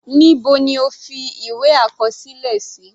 Níbo ni o fi ìwé àkọsílẹ sí?